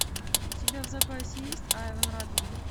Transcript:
у тебя в запасе есть айвон ратман